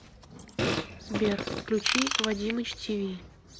сбер включи вадимыч ти ви